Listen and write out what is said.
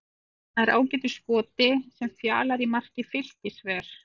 Hann nær ágætu skoti sem Fjalar í marki Fylkis ver.